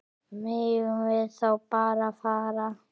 Megum við þá bara fara?